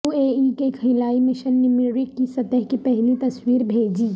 you A E کے خلائی mission نے مریخ کی سطح کی پہلی تصویر بھیجیں